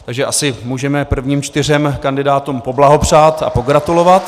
Takže asi můžeme prvním čtyřem kandidátům poblahopřát a pogratulovat.